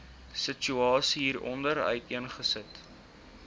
situasie hieronder uiteengesit